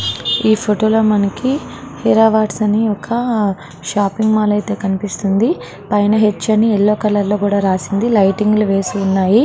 ఈ ఫోటో లో మనకి ఒక హిరావట్స్ అని షాపింగ్ మాల్ అయితే కనిపిస్తుంది పైన హెచ్ అని యెల్లో కలర్ లో రాసి ఉంది. లైటింగ్స్ వేసి ఉన్నాయి.